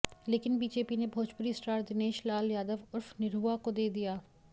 लेकिन बीजेपी ने भोजपुरी स्टार दिनेश लाल यादव उर्फ़ निरहुआ को दे दिया